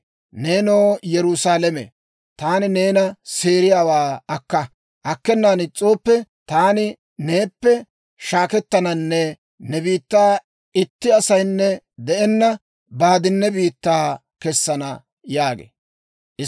Neenoo Yerusaalame, taani neena seeriyaawaa akka. Akkenan is's'ooppe, taani neeppe shaakkettananne ne biittaa itti asaynne de'enna baaddinne biittaa kessana» yaagee.